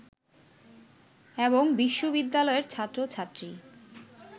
এবং বিশ্ববিদ্যালয়ের ছাত্র-ছাত্রী